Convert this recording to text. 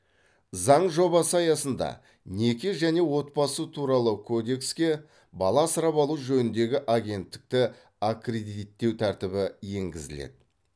заң жобасы аясында неке және отбасы туралы кодекске бала асырап алу жөніндегі агенттікті аккредиттеу тәртібі енгізіледі